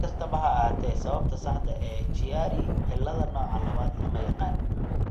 Si kastaba ha ahaatee, sababta saxda ah ee Chiari cilladda nooca labad lama yaqaan.